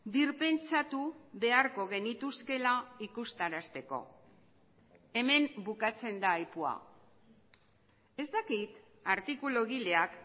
birpentsatu beharko genituzkeela ikustarazteko hemen bukatzen da ahitua ez dakit artikulugileak